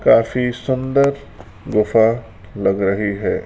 काफी सुंदर गुफा लग रही है।